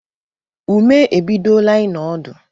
Ume ebidola ino ọdụ